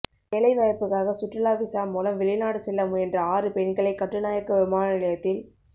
வேலை வாய்ப்புக்காக சுற்றுலா விசா மூலம் வெளிநாடு செல்ல முயன்ற ஆறு பெண்களை கட்டுநாயக்க விமான நிலையத்தில்